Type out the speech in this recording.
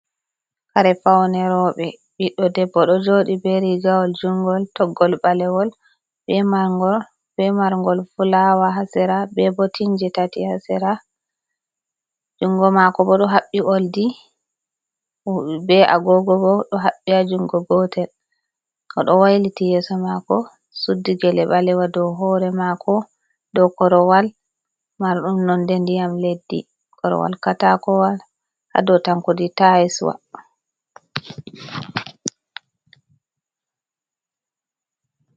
Kare faune roɓe, ɓiɗdo debbo ɗo joɗi be Rigawol jungol toggol ɓalewol be margol be Marngol fulawa ha Sira. be Botinje tati ha Sera. Jungo mako bo ɗo habɓi Oldi be Agogo ɗo habɓi ha jungo gotel. oɗo wailiti Yeso mako, Suddi gele ɓalewal dou hore mako, dou Korowal Marɗum nonde ndiyam leddi. Korowal katakowal ha dou Tankudi tayiswa.